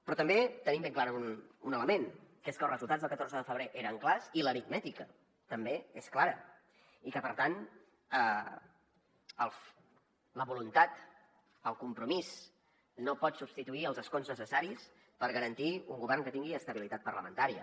però també tenim ben clar un element que és que els resultats del catorze de febrer eren clars i l’aritmètica també és clara i que per tant la voluntat el compromís no poden substituir els escons necessaris per garantir un govern que tingui estabilitat parlamentària